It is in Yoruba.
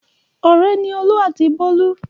Ọ̀rẹ́ ni Olú àti Bólú.